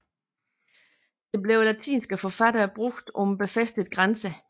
Det blev af latinske forfattere brugt om befæstede grænser